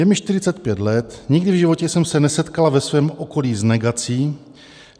Je mi 45 let, nikdy v životě jsem se nesetkala ve svém okolí s negací.